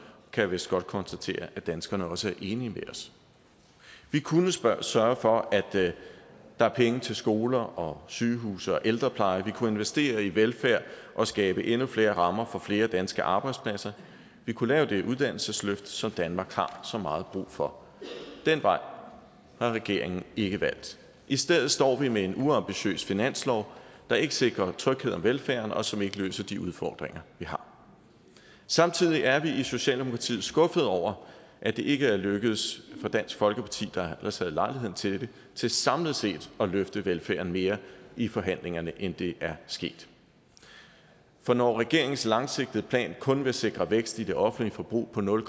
jeg vist godt konstatere at danskerne også er enige med os vi kunne sørge sørge for at der er penge til skoler og sygehuse og ældrepleje vi kunne investere i velfærd og skabe endnu flere rammer for flere danske arbejdspladser vi kunne lave det uddannelsesløft som danmark har så meget brug for den vej har regeringen ikke valgt i stedet står vi med en uambitiøs finanslov der ikke sikrer trygheden og velfærden og som ikke løser de udfordringer vi har samtidig er vi i socialdemokratiet skuffede over at det ikke er lykkedes for dansk folkeparti der ellers havde lejligheden til det til samlet set at løfte velfærden mere i forhandlingerne end det er sket for når regeringens langsigtede plan kun vil sikre vækst i det offentlige forbrug på nul